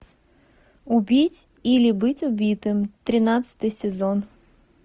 убить или быть убитым тринадцатый сезон